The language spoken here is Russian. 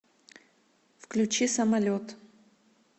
включи самолет